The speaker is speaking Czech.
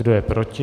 Kdo je proti?